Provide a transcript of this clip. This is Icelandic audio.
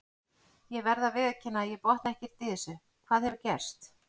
Ég verð að viðurkenna að ég botna ekkert í þessu, hvað hefur gerst?